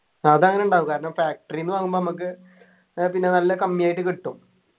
അതങ്ങനെ ഉണ്ടാകും കാരണം facory ന്നു വാങ്ങുമ്പൊ നമ്മക്ക് ഏർ പിന്നെ നല്ല കമ്മി ആയിട്ട് കിട്ടും